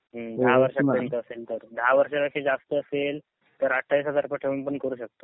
हम्म दहा वर्ष पर्यंत असेल तर दहा वर्षापेक्षा जास्त असेल तर अठ्ठावीस हजार रुपये ठेऊन पण करू शकतो.